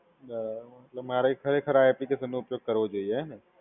બરાબર, એટલે મારે ખરેખર આ એપ્લિકેશનનો ઉપયોગ કરવો જોઈએ, હે ને?